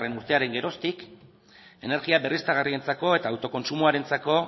urtearen geroztik energia berriztagarrientzako eta autokontsumoarentzako